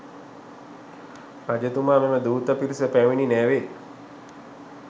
රජතුමා මෙම දූත පිරිස පැමිණි නැවේ